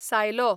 सायलो